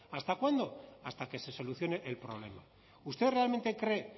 hasta cuándo hasta que se solucione el problema usted realmente cree